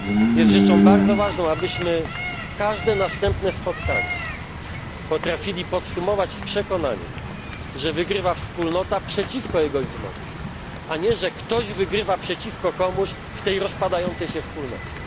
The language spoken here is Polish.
Jest rzeczą bardzo ważną, abyśmy każde następne spotkanie potrafili podsumować z przekonaniem, że wygrywa Wspólnota przeciwko egoizmowi, a nie, że ktoś wygrywa przeciwko komuś w tej rozpadającej się Wspólnocie.